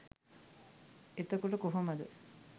එතකොට කොහොමද